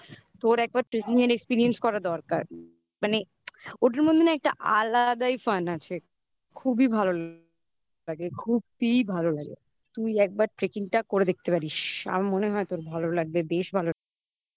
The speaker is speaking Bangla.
তোর একবার tracking experience করা দরকার মানে ওটার মধ্যে না একটা আলাদাই fun আছে। খুবই ভালো লাগে খুবই ভালো লাগে. তুই একবার tracking টা করে দেখতে পারিস. আমার মনে হয় তোর ভালো লাগবে. বেশ ভালো